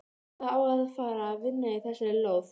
Það á að fara að vinna í þessari lóð.